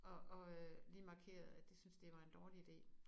Og og øh lige markerede at de syntes det var en dårlig ide